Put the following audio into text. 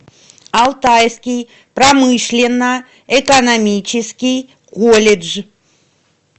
алтайский промышленно экономический колледж